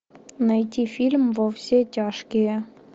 найти фильм во все тяжкие